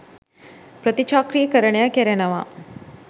ප්‍රතිචක්‍රිකරණය කෙරෙනවා